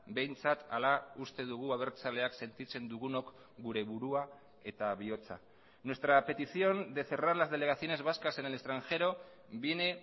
behintzat hala uste dugu abertzaleak sentitzen dugunok gure burua eta bihotza nuestra petición de cerrar las delegaciones vascas en el extranjero viene